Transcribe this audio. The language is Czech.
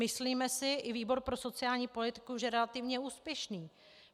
Myslíme si, i výbor pro sociální politiku, že relativně úspěšný.